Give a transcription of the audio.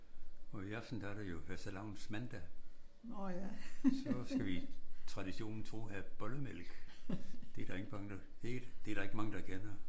Og i aften der er det jo fastelavnsmandag. Så skal vi traditionen tro have bollemælk. Det er ingen børn der det der ikke mange der kender